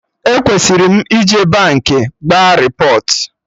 E kwesiri m ije Baankị gba repọt